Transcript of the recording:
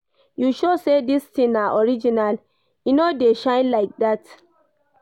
You sure say this thing na original, e no dey shine like that